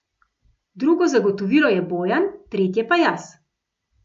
Drugo zagotovilo je Bojan, tretje pa jaz.